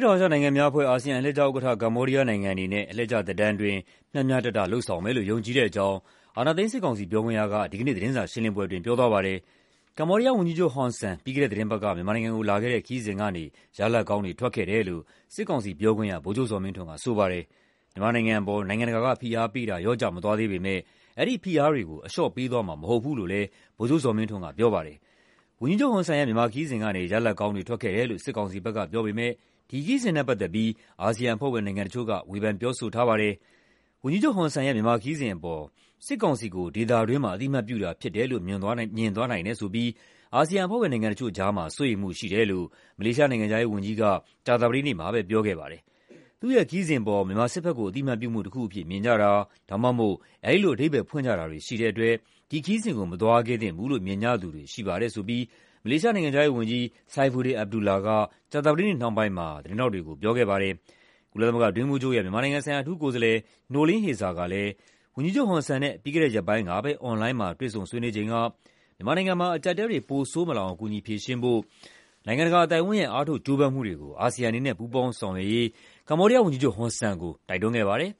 တောင်အာရှနိုင်ငံများအဖွဲ့ (ASEAN) အလှည့်ကျဥက္ကဋ္ဌ ကမ္ဘောဒီးယားနိုင်ငံအနေနဲ့ အလှည့်ကျသက်တမ်းအတွင်း မျှမျှတတလုပ်ဆောင်မယ်လို့ ယုံကြည်တဲ့အကြောင်း အာဏာသိမ်းစစ်ကောင်စီ ပြောခွင့်ရက ဒီကနေ့ သတင်းစာရှင်းလင်းပွဲ အတွင်း ပြောသွားပါတယ်။ ကမ္ဘောဒီးယားဝန်ကြီးချုပ် ဟွန်ဆန် ပြီးခဲ့တဲ့သီတင်းပတ်က မြန်မာနိုင်ငံကိုလာခဲ့တဲ့ ခရီးစဉ်ကနေ ရလာဒ်ကောင်းတွေ ထွက်ခဲ့ တယ်လို့ စစ်ကောင်စီပြောခွင့်ရ ဗိုလ်ချုပ်ဇော်မင်းထွန်းက ဆိုပါတယ်။ မြန်မာနိုင်ငံအပေါ် နိုင်ငံတကာက ဖိအားပေးတာ လျော့ကျ မသွားသေးပေမယ့် အဲဒီဖိအားတွေကို အလျှော့ပေးသွားမှာ မဟုတ်ဘူးလို့လည်း ဗိုလ်ချုပ်ဇော်မင်းထွန်းက ပြောပါတယ်။ ဝန်ကြီးချုပ်ဟွန်ဆန်ရဲ့ မြန်မာခရီးစဉ်ကနေ ရလဒ်ကောင်းတွေ ထွက်ခဲ့တယ်လို့ စစ်ကောင်စီဘက်ကပြောပေမယ့် ဒီခရီးစဉ်နဲ့ ပတ်သက်ပြီး အာဆီယံအဖွဲ့ဝင် နိုင်ငံတချို့က ဝေဖန်ပြောဆိုထားပါတယ်။ ဝန်ကြီးချုပ်ဟွန်ဆန်ရဲ့ မြန်မာခရီးစဉ်အပေါ် စစ်ကောင်စီကို ဒေသတွင်းမှာ အသိအမှတ်ပြုတာဖြစ်တယ်လို့ မြင်သွားနိုင်တဲ့အပေါ် အာဆီယံအဖွဲ့ဝင်နိုင်ငံတချို့ကြားမှာ စိုးရိမ်မှုရှိတယ်လို့ မလေးရှားနိုင်ငံခြားရေးဝန်ကြီးက ကြာသပတေးနေ့မှာပဲ ပြောခဲ့ပါတယ်။ “သူ့ရဲ့ခရီးစဉ်အပေါ် မြန်မာစစ်ဘက်ကို အသိအမှတ်ပြုမှုတခုအဖြစ် မြင်ကြတာ ဒါမှမဟုတ် အဲဒီလိုအဓိပ္ပါယ်ဖွင့်ကြတာတွေ ရှိတဲ့ အတွက် ဒီခရီးစဉ်ကို မသွားခဲ့သင့်ဘူးလို့ မြင်ကြသူတွေရှိပါတယ်” လို့ မလေးရှားနိုင်ငံခြားရေးဝန်ကြီး Saifuddin Abdullah က ကြာသပတေးနေ့နှောင်းပိုင်းမှာ သတင်းထောက်တွေကို ပြောခဲ့ပါတယ်။ ကုလသမဂ္ဂအတွင်းရေးမှူးချုပ်ရဲ့ မြန်မာနိုင်ငံဆိုင်ရာ အထူးကိုယ်စားလှယ် Noeleen Heyzer ကလည်း ဝန်ကြီးချုပ်ဟွန်ဆန်နဲ့ ပြီးခဲ့တဲ့ရက်ပိုင်းကပဲ အွန်လိုင်းမှာ တွေ့ဆုံဆွေးနွေးချိန်က မြန်မာနိုင်ငံမှာ အကျပ်အတည်းတွေ ပိုဆိုးမလာအောင် ကူညီဖြေရှင်းဖို့ အတွက် နိုင်ငံတကာအသိုက်အဝန်းရဲ့ အားထုတ်ကြိုးပမ်းမှုတွေကို အာဆီယံအနေနဲ့ ပူးပေါင်းဆောင်ရွက်ဖို့ ဝန်ကြီးချုပ်ဟွန်ဆန်ကို တိုက်တွန်းခဲ့ပါတယ်